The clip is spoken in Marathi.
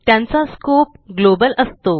त्यांचा स्कोप ग्लोबल असतो